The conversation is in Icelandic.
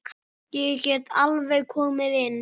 Ég get alveg komið inn.